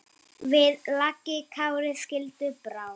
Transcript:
Við lagi Kári skildi brá.